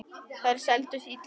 Þær seldust illa.